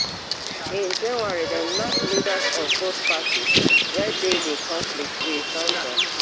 in january dem knack leaders of both parties wey dey di konflict wit sanctions